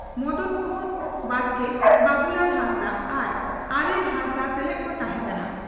ᱢᱚᱫᱚᱱ ᱢᱚᱦᱚᱱ ᱵᱟᱥᱠᱮ ᱵᱟᱹᱵᱩᱞᱟᱞ ᱦᱟᱸᱥᱫᱟᱜ ᱟᱨ ᱟᱨᱮᱞ ᱦᱟᱸᱥᱫᱟᱜ ᱥᱮᱞᱮᱫ ᱠᱚ ᱛᱟᱦᱮᱸ ᱠᱟᱱᱟ ᱾